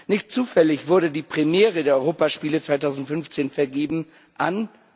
Nicht zufällig wurde die Premiere der Europaspiele 2015 vergeben an?